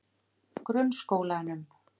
Grunnskólanum